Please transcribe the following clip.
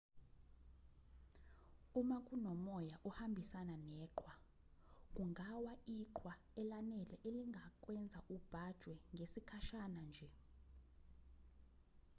uma kunomoya ohambisana neqhwa kungawa iqhwa elanele elingakwenza ubhajwe ngesikhashana nje